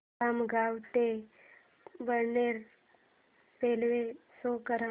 खामगाव ते बडनेरा रेल्वे शो कर